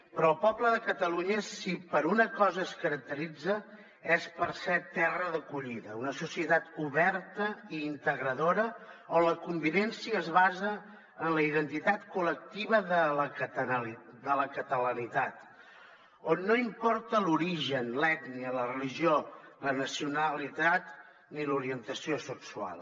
però el poble de catalunya si per una cosa es caracteritza és per ser terra d’acollida una societat oberta i integradora on la convivència es basa en la identitat collectiva de la catalanitat on no importa l’origen l’ètnia la religió la nacionalitat ni l’orientació sexual